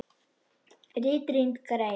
RITRÝND GREIN